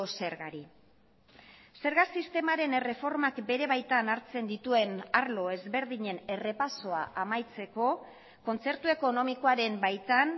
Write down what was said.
zergari zerga sistemaren erreformak bere baitan hartzen dituen arlo ezberdinen errepasoa amaitzeko kontzertu ekonomikoaren baitan